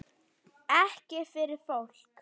Ekki fyrir fólk?